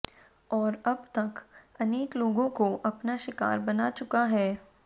और अब तक अनेक लोगों को अपना शिकार बना चुका है